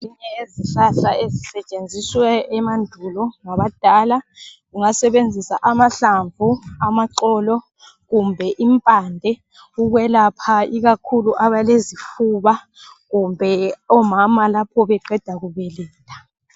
Ezinye yezihlahla esasisetshenziswe emandulo ngabadala ungasebenzisa amahlamu, amaxolo kumbe impande ukwelapha ikakhulu abalezifuba kumbe omama lapho beqeda kubeletha.